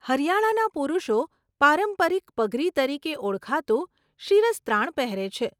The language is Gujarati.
હરિયાણાના પુરુષો પારંપરિક પગરી તરીકે ઓળખાતું શિરસ્ત્રાણ પહેરે છે.